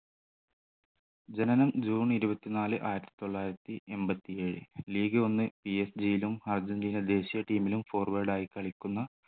ജനനം ജൂൺ ഇരുപത്തി നാല് ആയിരത്തി തൊള്ളായിരത്തി എൺപത്തി ഏഴ് league ഒന്ന് PSG യിലും അർജൻറീന ദേശിയ team ലും forward ആയി കളിക്കുന്ന